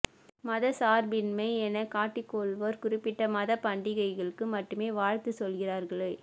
மத சார்பின்மை என காட்டி கொள்வோர் குறிப்பிட்ட மத பண்டிகைகளுக்கு மட்டுமே வாழ்த்து சொல்கிறார்களே